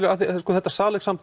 þetta